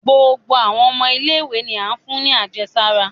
Gbogbo awọn ọmọ ile-iwe ni a fún ní àjẹsárá